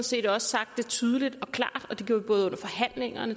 set også sagt det tydeligt og klart